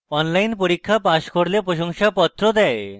online পরীক্ষা pass করলে প্রশংসাপত্র দেয়